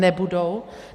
Nebudou.